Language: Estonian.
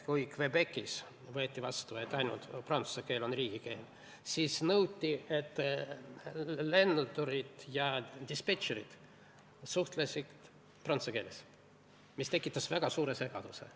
Kui Québecis võeti vastu otsus, et ainult prantsuse keel on riigikeel, siis nõuti, et lendurid ja dispetšerid suhtleksid prantsuse keeles, mis tekitas väga suure segaduse.